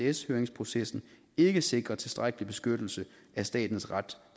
isds høringsprocessen ikke sikrer tilstrækkelig beskyttelse af statens ret